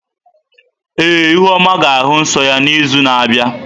Ee, ihuoma ga-ahụ nsọ ya n’izu na-abịa.